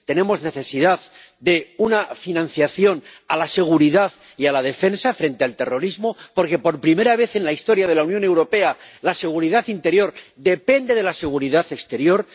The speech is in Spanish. tenemos necesidad de una financiación de la seguridad y de la defensa frente al terrorismo porque, por primera vez en la historia de la Unión Europea, la seguridad interior depende de la seguridad exterior